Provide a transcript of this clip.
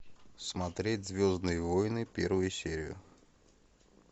смотреть звездные войны первую серию